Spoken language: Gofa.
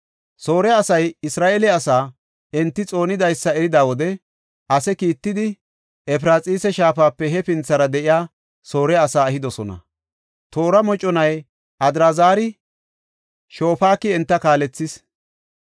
Soore asay Isra7eele asay enta xoonidaysa erida wode ase kiittidi Efraxiisa shaafape hefinthara de7iya Soore asaa ehidosona. Toora moconay Adraazari, Shofaaki enta kaalethees.